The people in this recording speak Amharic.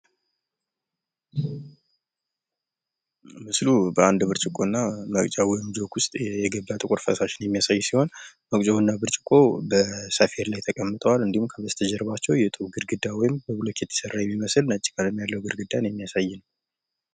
ምስሉ በአንድ ብርጭቆ እና በቢጫ ጆግ ዉስጥ የገባ ጥቁር ፈሳሽን የሚያሳይ ሲሆን መቅጃው እና ብርጭቆው በሰፌድ ላይ ተቀምጠዋል። እንዲሁም ከበስተጀርባቸው የጡብ ግድግዳ ወይም ከብሎኬት የተሰራን ግድግዳ የሚያሳይ ነው።